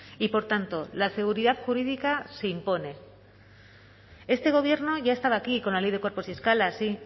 y por tanto la seguridad jurídica se impone este gobierno ya estaba aquí con la ley de cuerpos y escalas sí